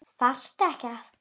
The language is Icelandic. Þarftu ekki að.?